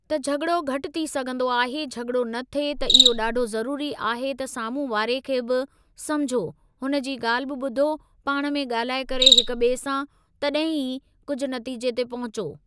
त झगि॒ड़ो घटि थी सघंदो आहे झगि॒ड़ो न थिए त इहो ॾाढो ज़रूरी आहे त साम्हूं वारे खे बि समुझो हुनजी ॻाल्हि बि ॿुधो पाण में ॻाल्हाए करे हिकु ॿिए सां तॾहिं ई कुझु नतीजे ते पहुचो।